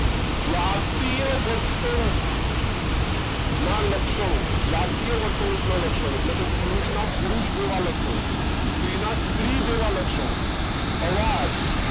જાતીય વર્તણુક ના લક્ષણો જાતીય વર્તણુક ના લક્ષણો પુરુષ ના પુરુષ જેવા લક્ષણો સ્ત્રી ના સ્ત્રી જેવા લક્ષણો અવાજ